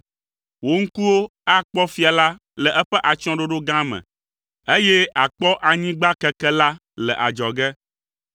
Wò ŋkuwo akpɔ fia la le eƒe atsyɔ̃ɖoɖo gã me, eye àkpɔ anyigba keke la le adzɔge.